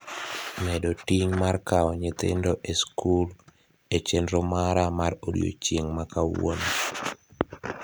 medo ting' mar kao nyithindo e skul e chenro mara mar odiechieng' makauono